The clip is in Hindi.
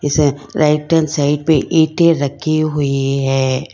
राइट हैंड साइड पे ईंटे रखी हुई है।